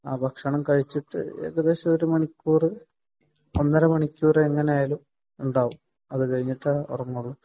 ഭക്ഷണം കഴിച്ചിട്ട് ഒരുമണിക്കൂർ ഏകദേശം ഒന്നര മണിക്കൂർ ഉണ്ടാവും . അത് കഴിഞ്ഞിട്ടേ ഉറങ്ങാറുള്ളൂ